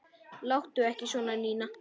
Láttu ekki svona, Nína.